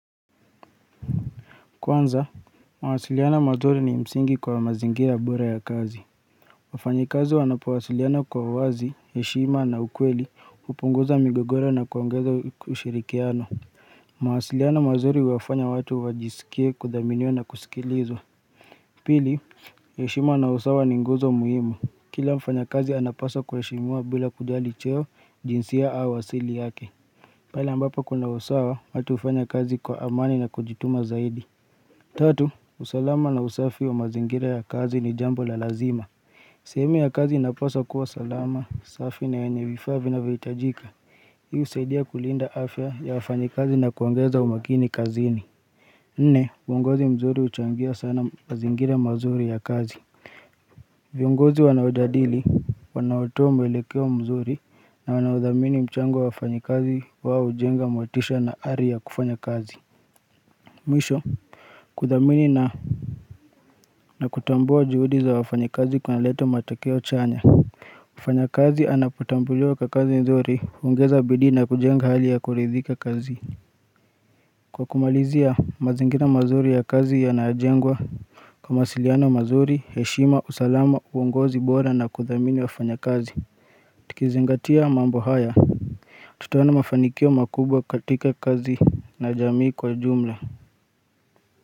Kwanza, mawasiliano mazuri ni msingi kwa mazingira bora ya kazi. Wafanyikazi wanapawasiliana kwa uwazi, heshima na ukweli, hupunguza migogoro na kuongeza ushirikiano. Mawasiliano mazuri huwafanya watu wajisikie kudhaminiwa na kusikilizwa. Pili, heshima na usawa ni nguzo muhimu. Kila mfanyakazi anapaswa kuheshimiwa bila kujali cheo, jinsia au asili yake. Pala ambapo kuna usawa, watu hufanya kazi kwa amani na kujituma zaidi. Tatu, usalama na usafi wa mazingira ya kazi ni jambo la lazima. Sehemu ya kazi inapaswa kuwa salama, safi na yenye vifaa vinavohitajika. Hii husaidia kulinda afya ya wafanyikazi na kuongeza umakini kazini. Nne, uongozi mzuri huchangia sana mazingira mazuri ya kazi. Viongozi wanaodadili, wanaotoa mwelekeo mzuri na wanaodhamini mchango wa wafanyikazi wao hujenga motisha na ari ya kufanya kazi. Mwisho kuthamini na, na kutambua juhudi za wafanyikazi kunaleta matokeo chanya. Mfanyakazi anapotambuliwa kwa kazi nzuri, huongeza bidii na kujenga hali ya kuridhika kazi. Kwa kumalizia mazingira mazuri ya kazi yanajengwa kwa mawasiliano mazuri, heshima, usalama, uongozi bora na kuthamini wafanyakazi Tukizingatia mambo haya, tutaona mafanikio makubwa katika kazi na jamii kwa ujumla.